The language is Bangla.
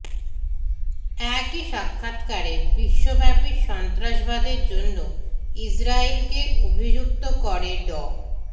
একই সাক্ষাৎকারে বিশ্বব্যাপী সন্ত্রাসবাদের জন্য ইসরাইলকে অভিযুক্ত করে ড